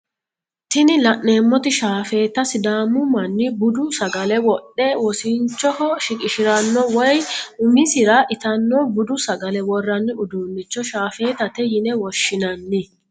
Tini la'neemoti shaafeeta sidaamu manni budu sagale wodhe wosinchoho shiqishiranno woye umisira itanno budu sagale worranni udunicho shaafeetate yine woshshinanni.